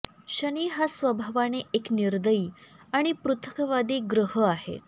शनी हा स्वभावाने एक निर्दयी आणि पृथकवादी ग्रह आहे